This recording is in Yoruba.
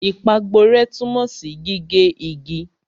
Ìpàgborẹ́ tunmo si gige igi.